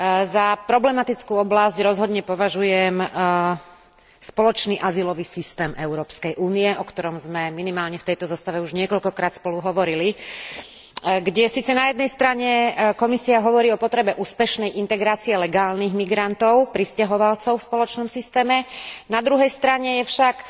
Za problematickú oblasť rozhodne považujem spoločný azylový systém Európskej únie, o ktorom sme minimálne v tejto zostave už niekoľkokrát spolu hovorili, kde síce na jednej strane Komisia hovorí o potrebe úspešnej integrácie legálnych migrantov prisťahovalcov v spoločnom systéme, na druhej strane je však